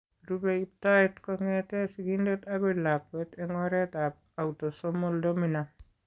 Rube iptoet kong'etke sigindet akoi lakwet eng' oretab autosomal dominant.